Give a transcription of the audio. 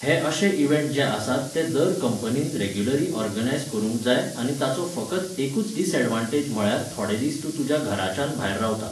हे अशे इव्हँट जे आसात ते दर कंपनीन रॅग्युलरी ऑर्गनायज करुंक जाय आनी ताचो फकत एकूच डिसऍडवान्टेज म्हळ्यार थोडे दिस तूं तुज्या घराच्यान भायर रावता.